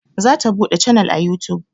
Za ta buɗe canal a yutub